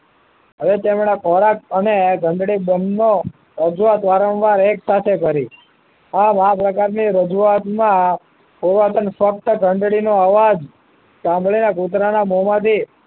હવે તેમના ખોરાક અને ઘંટડી બન્નો હજુ વારંવાર એક સાથે કરી આ ખાસ પ્રકારની રજૂઆતમાં પુન્રવાતન સત્ય ઘંટડી નો અવાજ સાંભળેલા કુતરાના મોંમાંથી